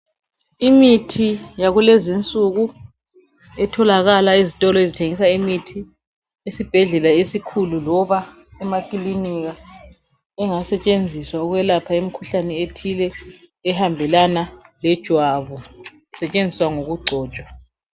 Imithi yakulensuku etholakala ezitolo ezithengisa imithi esibhedlela esikhulu loba emakilinika engasetshenziswa ukwelapha imkhuhlane ethile ehambelana lejwabu isetshenziswa ngokugcotshwa.